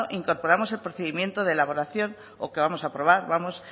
incorporamos el procedimiento de elaboración o que vamos a aprobar vamos